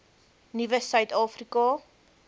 nuwe suid afrika